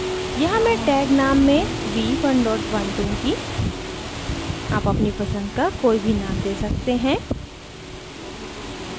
यहाँ मैं tag name में v11 दूँगी आप अपनी पसंद का कोई भी name दे सकते हैं